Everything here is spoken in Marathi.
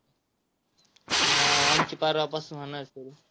हा, आमची परवापासून होणार सुरु.